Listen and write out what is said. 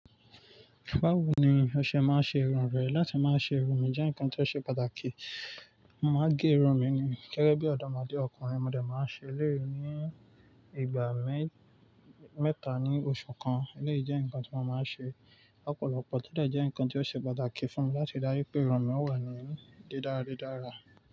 Báwo ni o ṣe máa ń ṣe irú rẹ. Láti máa ṣe irun mi jẹ́ nǹkan tó ṣe pàtàkì. Mo máa gé irun mi ní gẹ́gẹ́ bí ọdọ mo dé ọkùnrin. Mo dà máa ń ṣe eléyìí ní ìgbà mẹ́-mẹ́ta ní oṣù kan. Eléyìí jẹ́ nǹkan tí mo máa ń ṣe lọ́pọ̀lọpọ̀ tó dẹ̀ jẹ́ nǹkan tó ṣe pàtàkì fún mi láti rí dájú pé irun mi wà ní dídára dídára.